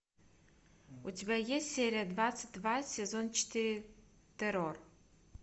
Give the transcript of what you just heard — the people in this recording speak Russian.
у тебя есть серия двадцать два сезон четыре террор